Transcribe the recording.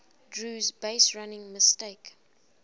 drew's baserunning mistake